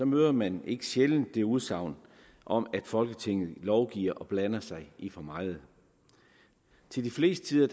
møder man ikke sjældent udsagnet om at folketinget lovgiver og blander sig i for meget det meste af